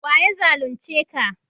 wa ya zalunce ka?